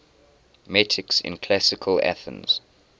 metics in classical athens